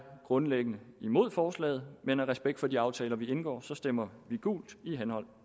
grundlæggende imod forslaget men af respekt for de aftaler vi indgår stemmer vi gult i henhold